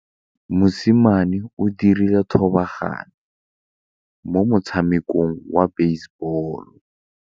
Mosimane o dirile thubaganyô mo motshamekong wa basebôlô.